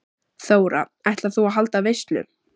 Þóra: Ætlar þú að halda veislu?